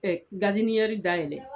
dayɛlɛ